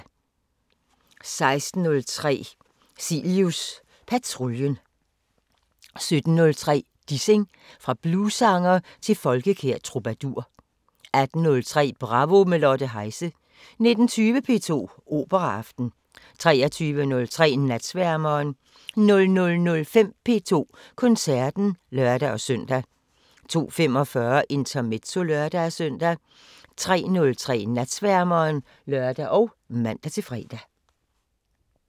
16:03: Cilius patruljen 17:03: Dissing – fra bluessanger til folkekær troubadour 18:03: Bravo – med Lotte Heise 19:20: P2 Operaaften 23:03: Natsværmeren 00:05: P2 Koncerten (lør-søn) 02:45: Intermezzo (lør-søn) 03:03: Natsværmeren (lør og man-fre)